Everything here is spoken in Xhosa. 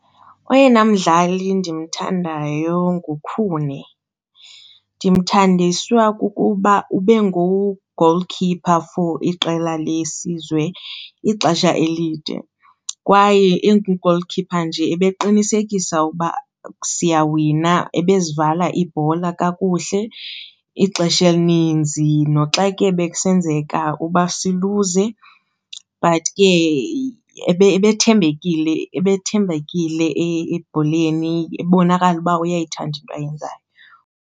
Oyena mdlali endimthandayo nguKhune. Ndimthandiswa kukuba ube ngu-goalkeeper for iqela lesizwe ixesha elide kwaye engu-goalkeeper nje ebeqinisekisa ukuba siyawina, ebezivala iibhola kakuhle ixesha elininzi. Noxa ke bekusenzeka uba siluze but ke ebethembekile ebethembekile ebholeni ebonakala uba uyayithanda into ayenzayo.